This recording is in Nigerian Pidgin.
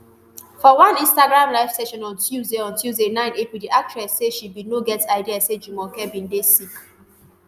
for one instagram live session on tuesday on tuesday nine april di actress say she bin no get idea say jumoke bin dey sick